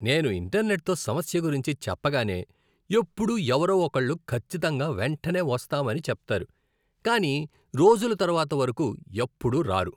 నేను ఇంటర్నెట్తో సమస్య గురించి చెప్పగానే ఎప్పుడూ ఎవరో ఒకళ్ళు ఖచ్చితంగా వెంటనే వస్తామని చెప్తారు, కాని రోజుల తరువాత వరకు ఎప్పుడూ రారు.